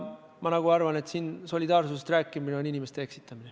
Ma arvan, et siinkohal solidaarsusest rääkimine on inimeste eksitamine.